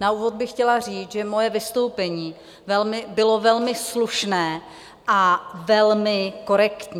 Na úvod bych chtěla říct, že moje vystoupení bylo velmi slušné a velmi korektní.